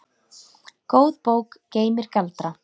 Góð bók geymir galdra.